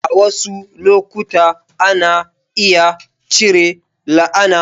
A wasu lokuta, ana iya cire la'ana.